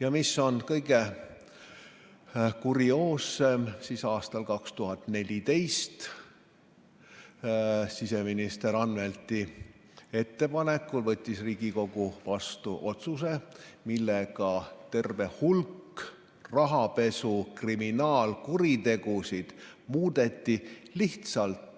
Ja mis kõige kurioossem – aastal 2014 siseminister Anvelti ettepanekul võttis Riigikogu vastu otsuse, millega terve hulk rahapesuga seotud kriminaalkuritegusid muudeti lihtsalt